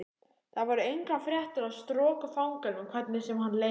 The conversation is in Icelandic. Þar voru engar fréttir af strokufanganum hvernig sem hann leitaði.